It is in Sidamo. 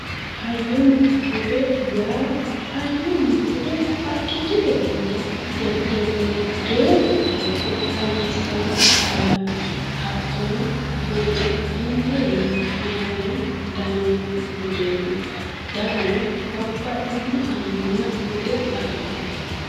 hoyyonna bude yaa hayyonna bude haqqichote hunda jajjabunna geerru ofolte hayyissanno hayyooti hattono buduno insawiinni hanafame daanno budeeti dagano babbaxitino hayyonna bude afidhino.